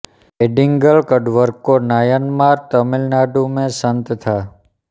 ऐयदिगल कडवर्कों नायनमार तमिल नाडु में सन्त था